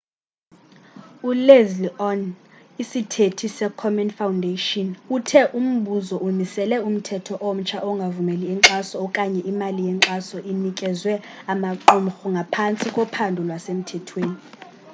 uleslie aun isithethi se komen foundation uthe umbutho umisele umthetho omtsha ongavumeli inkxaso okanye imali yenkxaso inikezwe amaqumhru aphantsi kophando lwasemthethweni